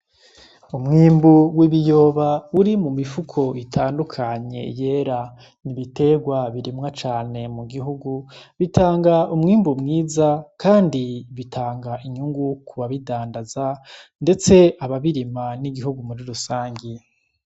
Umwimbu w'ibiyoba uri mu mifuko itandukanye yera N’ibiterwa birimwa cane mu gihugu bitanga umwimbu mwiza, kandi bitanga inyungu kubabidandaza, ndetse ababirima n'igihugu muri rusange.